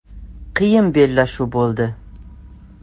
“Qiyin bellashuv bo‘ldi.